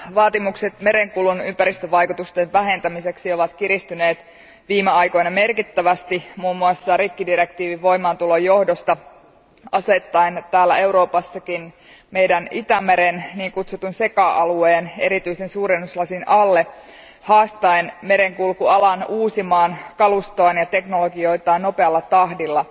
Arvoisa puhemies, vaatimukset merenkulun ympäristövaikutusten vähentämiseksi ovat kiristyneet viime aikoina merkittävästi, muun muassa rikkidirektiivin voimaantulon johdosta, asettaen täällä Euroopassakin Itämeren niin kutsutun SECA alueen erityisen suurennuslasin alle ja haastaen merenkulkualan uusimaan kalustoaan ja teknologioitaan nopealla tahdilla.